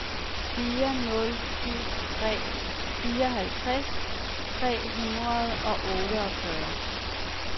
fire nul syv tre fireoghalvtreds tre hundrede og otteogfyrre